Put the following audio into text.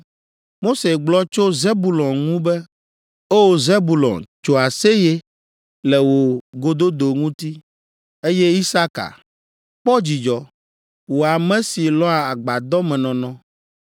Mose gblɔ tso Zebulon ŋu be, “O! Zebulon, tso aseye le wò gododo ŋuti, eye Isaka, kpɔ dzidzɔ wò ame si lɔ̃a agbadɔmenɔnɔ.